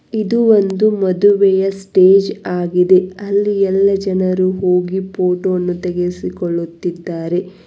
ಇದು ಒಂದು ಮದುವೆಯ ಸ್ಟೇಜ್ ಆಗಿದೆ ಅಲ್ಲಿ ಎಲ್ಲಾ ಜನರು ಹೋಗಿ ಫೋಟೋ ಅನ್ನು ತೆಗಿಸಿಕೊಳ್ಳುತ್ತಿದ್ದಾರೆ.